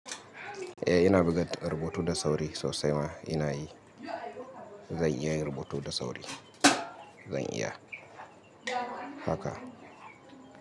Eh ina buga rubutu da sauri sosai ma ina yi. Zan iya yin rubutu da sauri. Zan iya. Haka.